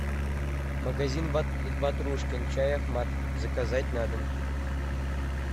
магазин ватрушкин чай ахмат заказать на дом